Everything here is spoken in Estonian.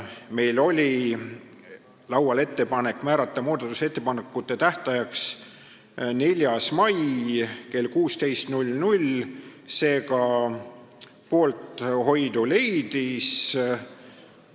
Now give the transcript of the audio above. Meil oli laual ettepanek määrata muudatusettepanekute esitamise tähtajaks 4. mai kell 16, see ka poolehoidu leidis.